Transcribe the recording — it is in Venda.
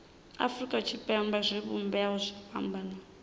afurika tshipembe zwivhumbeo zwo fhambanaho